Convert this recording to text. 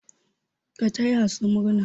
Ka taya sa murna!